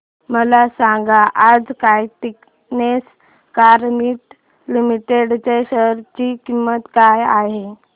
मला सांगा आज काइटेक्स गारमेंट्स लिमिटेड च्या शेअर ची किंमत काय आहे